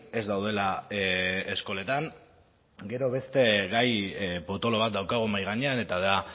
ez daudela eskoletan gero beste gai potolo bat daukagu mahai gainean eta da